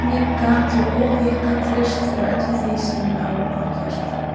Henni gat ég óhikað treyst fyrir öllu því sem mér lá á hjarta.